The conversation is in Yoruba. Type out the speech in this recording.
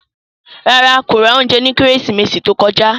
No, he did not buy food last christmas